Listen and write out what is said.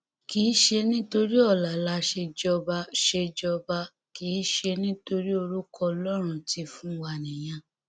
kì í ṣe nítorí ọla la ṣe jọba ṣe jọba kì í ṣe nítorí orúkọ ọlọrun ti fún wa nìyẹn